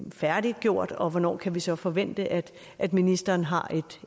færdiggjort og hvornår kan vi så forvente at at ministeren har